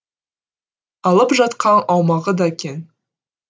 алып жатқан аумағы да кең